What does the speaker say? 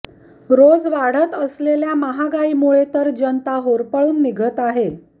रोज वाढत असलेली महागाई मुळे तर जनता होरपळून निघत आहे